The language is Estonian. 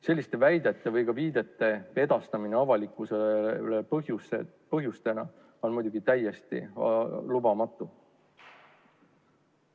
Selliste väidete või viidete edastamine avalikkusele on muidugi täiesti lubamatu.